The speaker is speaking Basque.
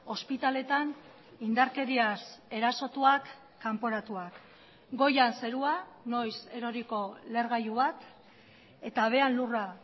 ospitaletan indarkeriaz erasotuak kanporatuak goian zerua noiz eroriko lehergailu bat eta behean lurra